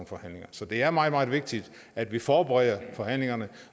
forhandlinger så det er meget meget vigtigt at vi forbereder forhandlingerne